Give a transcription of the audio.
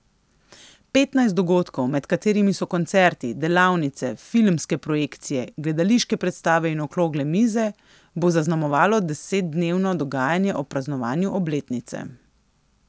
Petnajst dogodkov, med katerimi so koncerti, delavnice, filmske projekcije, gledališke predstave in okrogle mize, bo zaznamovalo desetdnevno dogajanje ob praznovanju obletnice.